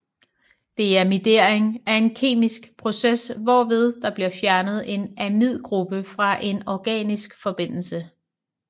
Deamidering er en kemisk process hvorved der bliver fjernet en amidgruppe fra en organisk forbindelse